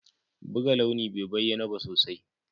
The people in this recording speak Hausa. Buga launi bai bayyana ba sosai.